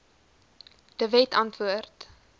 de wet antwoord